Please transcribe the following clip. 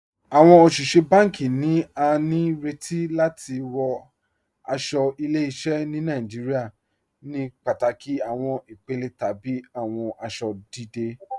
Awọn oṣiṣẹ̀ bánkì ni à ní rètì láti wọ̀ aṣọ̀ ìlẹ̀-ìṣẹ̀ ni Nàìjíríà ní pátákì awọn ìpèlè tàbí awọn aṣọ̀ dídẹ̀.